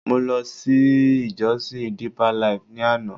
Mo ló sí ìjosìn Deeper life ni àná